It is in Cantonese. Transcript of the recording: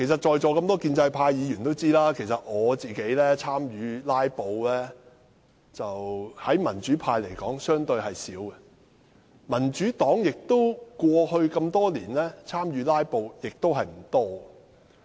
在座一眾建制派議員都知道，以民主派議員來說，我參與"拉布"的次數相對較少，民主黨多年來參與"拉布"的次數亦不多。